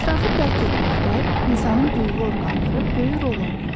Ətrafı dərk etməkdə insanın duyğu orqanları böyük rol oynayır.